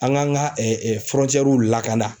An k'an ka lakana.